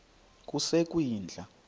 yasekwindla